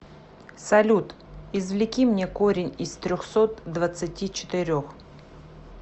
салют извлеки мне корень из трехсот двадцати четырех